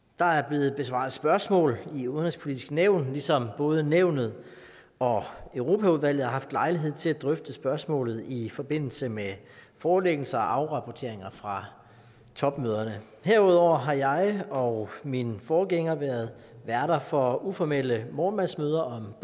der er blevet besvaret spørgsmål i det udenrigspolitiske nævn ligesom både nævnet og europaudvalget har haft lejlighed til at drøfte spørgsmålet i forbindelse med forelæggelser og afrapporteringer fra topmøderne herudover har jeg og min forgænger været værter for uformelle morgenmadsmøder